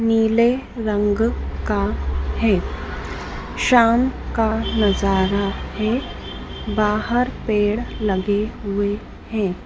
नीले रंग का है शाम का नजारा है बाहर पेड़ लगे हुए हैं।